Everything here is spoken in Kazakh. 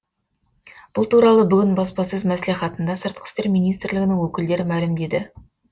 бұл туралы бүгін баспасөз мәслихатында сыртқы істер министрлігінің өкілдері мәлімдеді